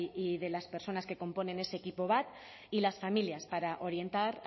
y de las personas que componen ese equipo bat y las familias para orientar